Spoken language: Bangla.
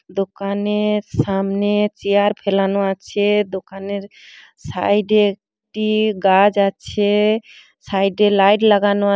দোকানের সামনে চেয়ার ফেলানো আছে। দোকানের সাইডে একটি গাছ আছে সাইডে লাইট লাগানো আ --